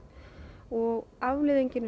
og afleiðingin er